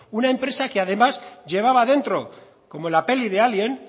una empresa que además llevaba dentro como en la peli de alien